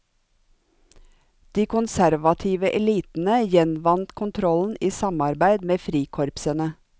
De konservative elitene gjenvant kontrollen i samarbeid med frikorpsene.